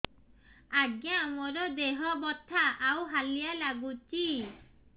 ଆଜ୍ଞା ମୋର ଦେହ ବଥା ଆଉ ହାଲିଆ ଲାଗୁଚି